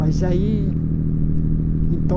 Mas aí, então,